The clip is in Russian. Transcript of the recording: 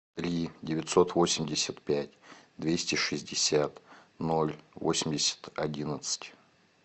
три девятьсот восемьдесят пять двести шестьдесят ноль восемьдесят одиннадцать